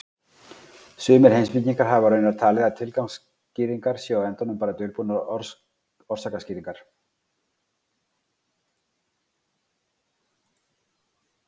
Sumir heimspekingar hafa raunar talið að tilgangsskýringar séu á endanum bara dulbúnar orsakaskýringar.